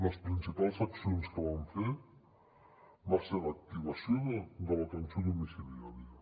les principals accions que vam fer va ser l’activació de l’atenció domiciliària